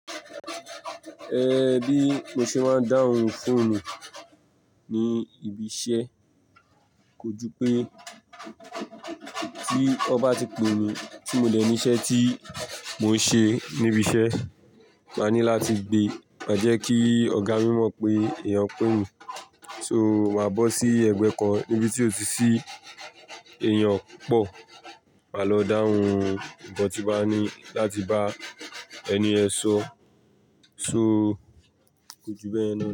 Ẹ bí mo ṣe máa ń dáhùn fóònù ní ibi iṣẹ́, ko ju pé tí ọba ti pe mí tí mo dẹ̀ ní iṣẹ́ tí mò ń ṣe níbi iṣẹ́, màá ní láti gbe, má jẹ́ kí ọ̀gá mi mọ̀ pé èèyàn pè mí. So màá bọ́ sí ẹ̀gbẹ́ kan níbi tí ó ti sí èèyàn pupọ̀, màá lọ dáhùn. Ìkan tí bá ní láti bá ẹni ẹ sọ, so ko ju bẹ́ẹ̀ yẹn.